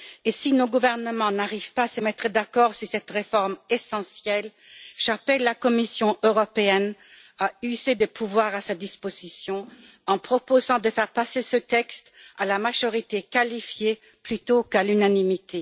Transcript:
Si nos gouvernements n'arrivent pas à se mettre d'accord sur cette réforme essentielle, j'appelle la Commission européenne à user des pouvoirs à sa disposition, en proposant de faire passer ce texte à la majorité qualifiée plutôt qu'à l'unanimité.